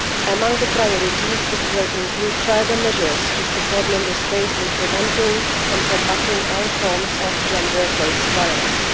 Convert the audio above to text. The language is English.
Among the priorities it will include further measures to support Member States in preventing and combating all forms of gender based violence.